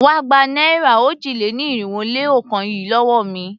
Wá gba náírà òjì-lé-ní-irinwó-lé-ọ̀kan yìí lówó mi!